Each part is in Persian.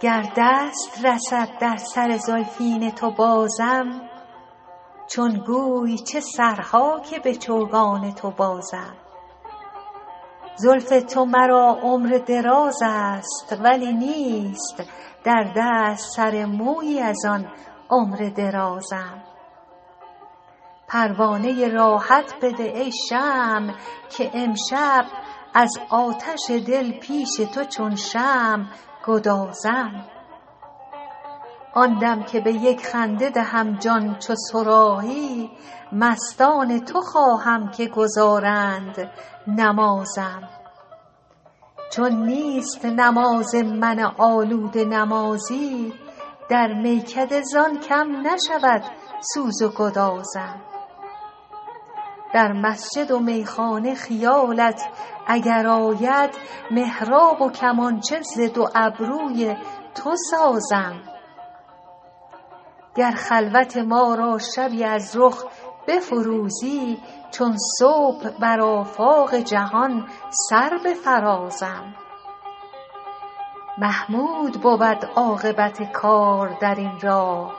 گر دست رسد در سر زلفین تو بازم چون گوی چه سرها که به چوگان تو بازم زلف تو مرا عمر دراز است ولی نیست در دست سر مویی از آن عمر درازم پروانه راحت بده ای شمع که امشب از آتش دل پیش تو چون شمع گدازم آن دم که به یک خنده دهم جان چو صراحی مستان تو خواهم که گزارند نمازم چون نیست نماز من آلوده نمازی در میکده زان کم نشود سوز و گدازم در مسجد و میخانه خیالت اگر آید محراب و کمانچه ز دو ابروی تو سازم گر خلوت ما را شبی از رخ بفروزی چون صبح بر آفاق جهان سر بفرازم محمود بود عاقبت کار در این راه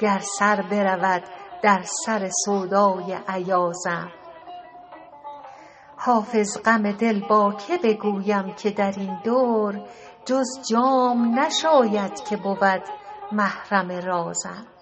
گر سر برود در سر سودای ایازم حافظ غم دل با که بگویم که در این دور جز جام نشاید که بود محرم رازم